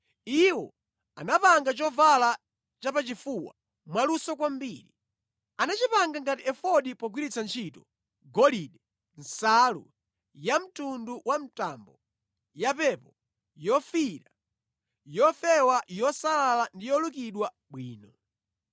Iwo anapanga chovala chapachifuwa mwaluso kwambiri. Anachipanga ngati efodi pogwiritsa ntchito golide, nsalu yamtundu wa mtambo, yapepo, yofiira, yofewa yosalala ndi yolukidwa bwino.